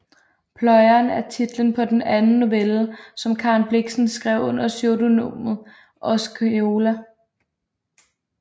Pløjeren er titlen på den anden novelle som Karen Blixen skrev under pseudonymet Osceola